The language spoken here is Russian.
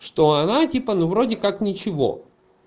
что она типа ну вроде как ничего